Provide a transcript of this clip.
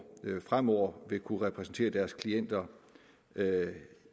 fremover vil kunne repræsentere deres klienter